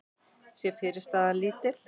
sé fyrirstaðan lítil.